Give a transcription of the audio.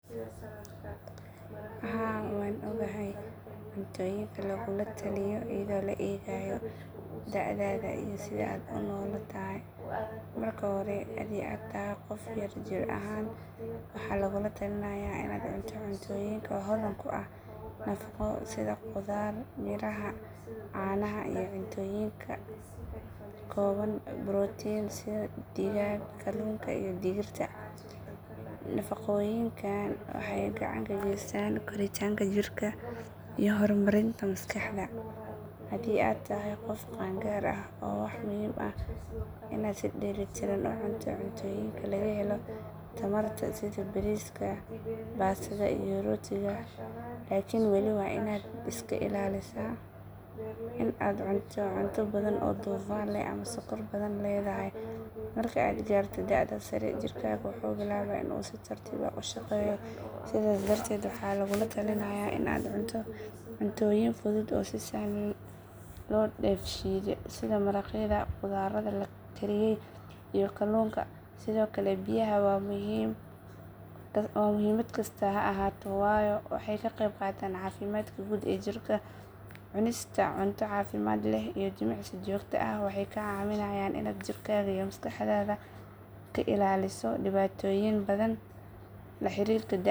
Haa waan ogahay cuntooyinka lagugula taliyo iyadoo la eegayo da’daada iyo sida aad u noolaatahay. Marka hore haddii aad tahay qof yar jir ahaan waxaa lagula talinayaa in aad cunto cuntooyin hodan ku ah nafaqo sida khudaar, miraha, caanaha iyo cuntooyinka ka kooban borotiin sida digaaga, kalluunka iyo digirta. Nafaqooyinkan waxay gacan ka geystaan koritaanka jirka iyo horumarinta maskaxda. Haddii aad tahay qof qaan gaar ah waxaa muhiim ah in aad si dheellitiran u cunto, cuntooyinka laga helo tamarta sida bariiska, baastada, iyo rootiga, laakin weli waa in aad iska ilaalisaa in aad cunto badan oo dufan leh ama sonkor badan leedahay. Marka aad gaarto da’da sare jirkaagu wuxuu bilaabaa in uu si tartiib ah u shaqeeyo sidaas darteed waxaa lagula talinayaa in aad cunto cuntooyin fudud oo si sahlan loo dheefshiido sida maraqyada, khudradda la kariyey, iyo kalluunka. Sidoo kale biyaha waa muhiim da’ kasta ha ahaato, waayo waxay ka qayb qaataan caafimaadka guud ee jirka. Cunista cunto caafimaad leh iyo jimicsiga joogtada ah waxay kaa caawinayaan in aad jirkaaga iyo maskaxdaada ka ilaaliso dhibaatooyin badan oo la xiriira da’da.